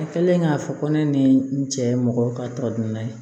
A kɛlen k'a fɔ ko ne ni n cɛ ye mɔgɔ ka tɔ donna ye